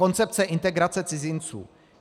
Koncepce integrace cizinců.